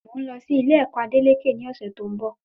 Mọ n lọ sí Ilé ẹ̀kọ́ Adeleke ní ọ̀sẹ̀ tí òún bo